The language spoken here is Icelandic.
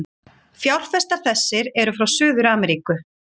Fjárfestar þessir eru frá Suður-Ameríku.